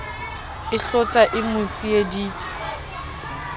e hlotsa e mo tseiditse